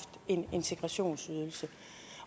en integrationsydelse